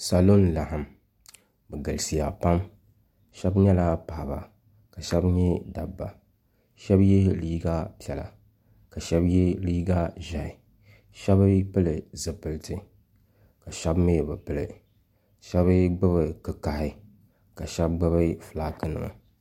salo n-laɣim bɛ galisiya pam shɛba nyɛla paɣaba ka shɛba nyɛ dabba shɛba ye liiga piɛla ka shɛba ye liiga ʒɛhi shɛba ŋun pili zupiliti ka shɛba mi bi pili shɛba mi gbubi kikahi ka shɛba gbubi fulaaki nima.